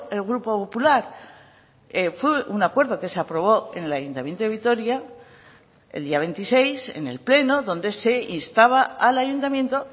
el grupo popular fue un acuerdo que se aprobó en el ayuntamiento de vitoria el día veintiséis en el pleno donde se instaba al ayuntamiento